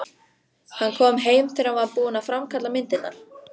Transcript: Hann kom heim þegar hann var búinn að framkalla myndirnar.